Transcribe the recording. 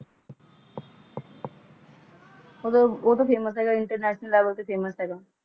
ਬੁਰੇ ਉਹ ਵੀ ਮੰਗ ਲਈ ਇੰਟਰਨੈਟ ਦਾ ਵਧ ਰਿਹਾ ਫੈਸ਼ਨ